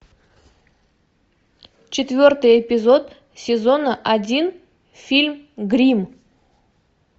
четвертый эпизод сезона один фильм гримм